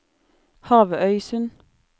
Havøysund